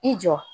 I jɔ